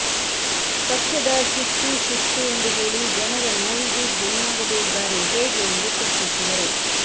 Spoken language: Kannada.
ಪಕ್ಷದ ಶಿಸ್ತು ಶಿಸ್ತು ಎಂದು ಹೇಳಿ ಜನರ ನೋವಿಗೂ ಧ್ವನಿಯಾಗದೇ ಇದ್ದಾರೆ ಹೇಗೆ ಎಂದು ಪ್ರಶ್ನಿಸಿದರು